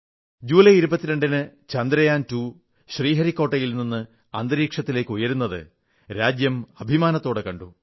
ജൂലൈ22 ന് ചന്ദ്രയാൻ 2 ശ്രീഹരിക്കോട്ടയിൽ നിന്ന് അന്തരീക്ഷത്തിലേക്കുയരുന്നത് രാജ്യം അഭിമാനത്തോടെ കണ്ടു